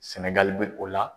Sɛnɛgali bɛ o la